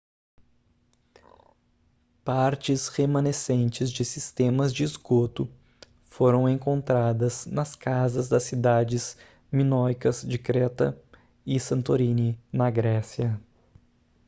partes remanescentes de sistemas de esgoto foram encontradas nas casas das cidades minoicas de creta e santorini na grécia